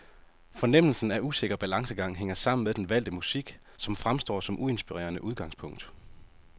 Fornemmelsen af usikker balancegang hænger sammen med den valgte musik, som fremstår som uinspirerende udgangspunkt.